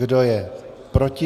Kdo je proti?